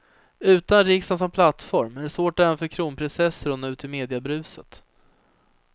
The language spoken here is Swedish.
Utan riksdagen som plattform är det svårt även för kronprinsessor att nå ut i mediabruset.